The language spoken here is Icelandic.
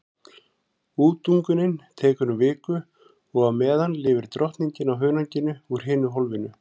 Útungunin tekur um viku og á meðan lifir drottningin á hunanginu úr hinu hólfinu.